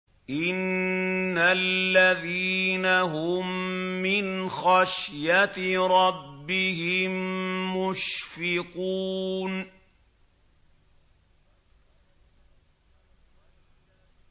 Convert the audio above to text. إِنَّ الَّذِينَ هُم مِّنْ خَشْيَةِ رَبِّهِم مُّشْفِقُونَ